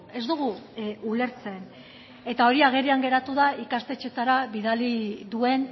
ez dugu ulertzen eta hori agerian geratu da ikastetxeetara bidali duen